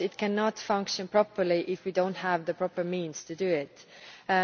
it cannot function properly if we do not have the proper means for it to do so.